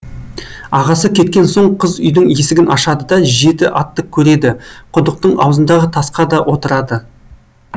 ағасы кеткен соң қыз үйдің есігін ашады да жеті атты көреді құдықтың аузындағы тасқа да отырады